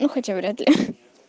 ну хотя вряд ли